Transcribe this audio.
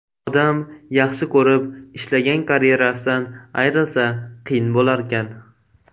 Odam yaxshi ko‘rib, ishlagan karyerasidan ayrilsa, qiyin bo‘larkan.